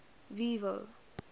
vivo